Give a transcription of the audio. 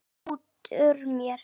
hrekkur út úr mér.